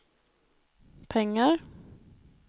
pengar